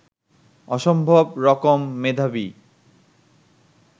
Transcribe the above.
অসম্ভব রকম মেধাবী